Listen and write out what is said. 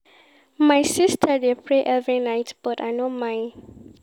My sista dey pray every night but I no mind.